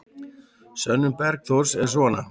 Sönnun Bergþórs er svona: